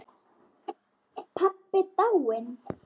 Pabbi dáinn.